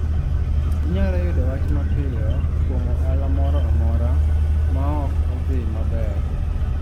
Inyalo yudo wach mapiyo kuom ohala moro amora maok odhi maber.